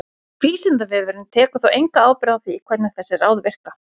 Vísindavefurinn tekur þó enga ábyrgð á því hvernig þessi ráð virka.